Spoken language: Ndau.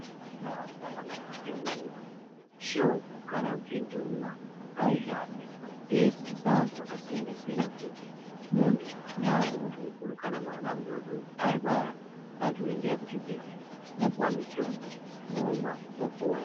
Muntaraunda mwakatirenderedza shoko kana kuti nduma ngaihambe yeidzidzisa vantu vakasiyana siyana kuti muntu, kunyaa muntu mukuru kana mwana mudoodori arwara vantu endai kuzvibhedhlera mwoopuwa mitombo momwa mwopora.